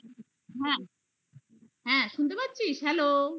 হ্যাঁ. হ্যাঁ, শুনতে পাচ্ছিস? hello